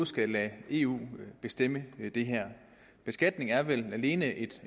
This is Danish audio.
skal lade eu bestemme det her beskatning er vel alene et